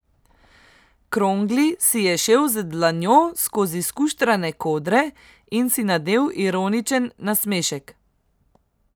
Krongli si je šel z dlanjo skozi skuštrane kodre in si nadel ironičen nasmešek.